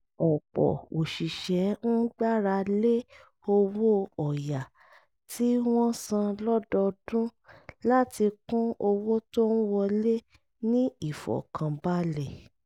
ọ̀pọ̀ òṣìṣẹ́ ń gbára lé owó ọ̀yà tí wọ́n san lọ́dọọdún láti kún owó tó ń wọlé ní ìfọ̀kànbalẹ̀